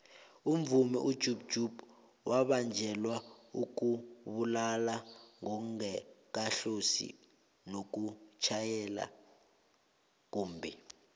umvumi ujub jub wabanjelwa ukubulala angakahlosi nokutjhayela kumbhi